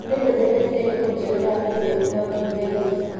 Nĩ ndũmĩrĩri ĩrĩkũ njerũ ya e-mail ũheo kiumia gĩkĩ?